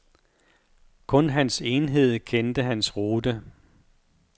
Kun hans enhed kendte hans rute.